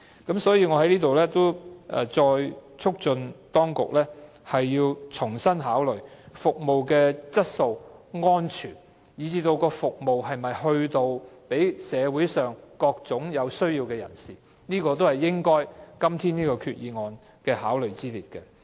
因此，我在此再促請當局重新考慮巴士公司的服務質素及安全，以及巴士公司能否為社會上各類有需要的人士提供服務，這些也是今天這項決議案應該考慮的。